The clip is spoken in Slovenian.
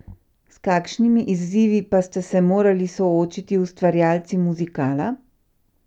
S kakšnimi izzivi pa ste se morali soočiti ustvarjalci muzikala?